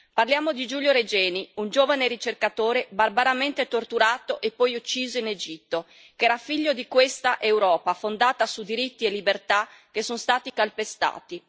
Parliamo di Giulio Regeni, un giovane ricercatore barbaramente torturato e poi ucciso in Egitto, che era figlio di questa Europa fondata su diritti e libertà che sono stati calpestati.